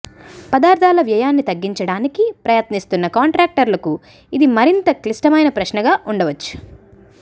పదార్థాల వ్యయాన్ని తగ్గించడానికి ప్రయత్నిస్తున్న కాంట్రాక్టర్లకు ఇది మరింత క్లిష్టమైన ప్రశ్నగా ఉండవచ్చు